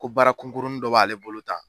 Ko baara kunkurunin dɔ b'ale bolo tan.